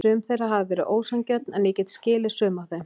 Sum þeirra hafa verið ósanngjörn en ég get skilið sum af þeim.